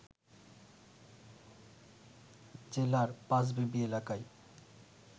জেলার, পাঁচবিবি এলাকায়